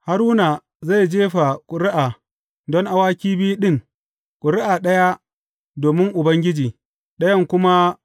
Haruna zai jefa ƙuri’a don awaki biyun ɗin, ƙuri’a ɗaya domin Ubangiji, ɗayan kuma